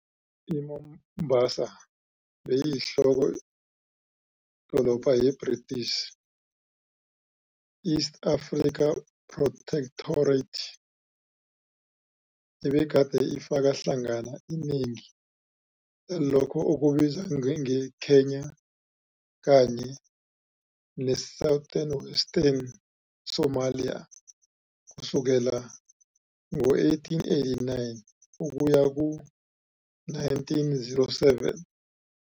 I-Mombasa beyiyinhloko-dolobha ye-British East Africa Protectorate, ebegade ifaka hlangana inengi lalokho okubizwa nge-Kenya kanye ne-Southern Western Somalia, kusukela ngo-1889 ukuya ku-1907.